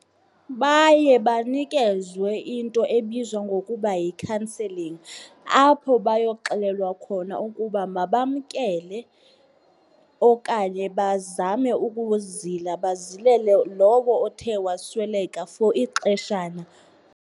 Baye banikezwe into ebizwa ngokuba yi-counselling apho bayoxelelwa khona ukuba mabamkele okanye bazame ukuzila, bazilele lowo othe wasweleka for ixeshana.